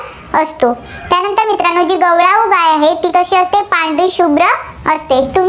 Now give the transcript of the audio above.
गाय आहे, ती कशी असते पांढरी शुभ्र असते.